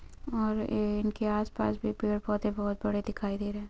और ए इनके आसपास भी पेड़ - पौधे बहुत बड़े दिखाई दे रहे हैं।